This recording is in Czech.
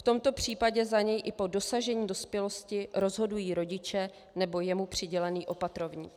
V tomto případě za něj i po dosažení dospělosti rozhodují rodiče nebo jemu přidělený opatrovník.